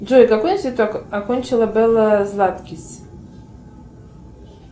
джой какой институт окончила белла златкис